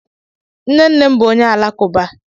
Nne nne m bú onye alakuba